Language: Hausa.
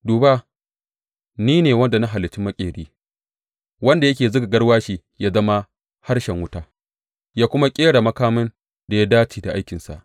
Duba, ni ne wanda na halicci maƙeri wanda yake zuga garwashi ya zama harshen wuta ya kuma ƙera makamin da ya dace da aikinsa.